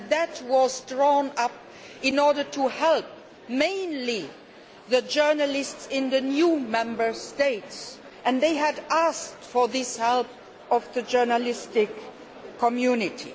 That was drawn up in order to help mainly the journalists in the new Member States and they had asked for this help from the journalistic community.